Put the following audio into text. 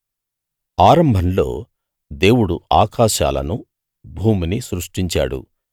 ఆరంభంలో దేవుడు ఆకాశాలనూ భూమినీ సృష్టించాడు